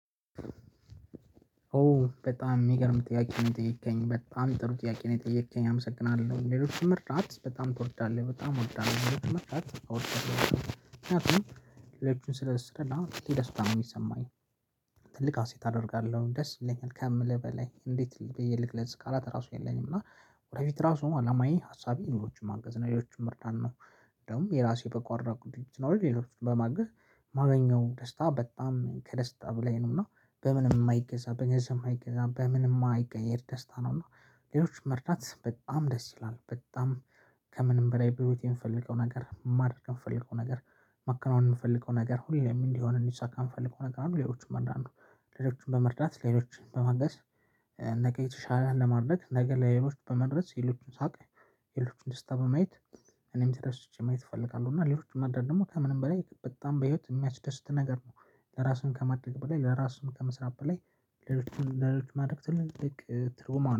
ኦ በጣም የሚገርም ጥያቄ ነው የጠየከኝ። በጣም ጥሩ ጥያቄ ነው የጠየከኝ አመሰግናለሁ ሌሎች መርዳት በጣም ትወዳለህ በጣም ወዳለው ሌሎችን መርዳት እወዳለው ምክንያቱም ሌሎቹን ስለስረላ ደስታ ነው የሚሰማኝ። ትልቅ አሴት አደርጋለሁ ደስ ይለኛል ከምልህ በላይ እንዴት ብዬ ልግለፅ ቃላት ራሱ የለኝም እና ወደፊት ራሱ አላማዬ ሀሳቤ ሌሎቹን ማገዝ ሌሎቹን መርዳት ነው ደግሞ የራሴ የበጎ አድራጎት ድርጅት ቢኖረኝ ሌሎቹን በማገዝ ማገኘው ደስታ በጣም ከደስታ በላይ ነው እና በምንም የማይገዛ በገንዘብ የማይገዛ በምንም ማይቀየር ደስታ ነው እና ሌሎቹን መርዳት በጣም ደስ ይላል በጣም ከምንም በላይ በህይወቴ የምፈልገው ነገር ማድረግ የምፈልገው ነገር ማከናወን የምፈልገው ነገር ሁሌም እንዲሆን እንዲሳካ የምፈልገው ነገር አንዱ ሌሎቹም አንዳንዱ ሌሎችን በመርዳት ሌሎችን በማገዝ ነገ የተሻለ ለማድረግ ነገ ለሌሎች በመድረስ ሌሎችን ሳቅ የሌሎችን ደስታ በማየት እኔም ተደስቼ ማየት እፈልጋለሁ እና ሌሎች መርዳት ደግሞ ከምንም በላይ በጣም በህይወት የሚያስደስት ነገር ነው ለራስም ከማድረግ በላይ ለራሱም ከመስራት በላይ ሌሎችን ለሌሎቹ ማድረግ ትልቅ ትርጉም አለው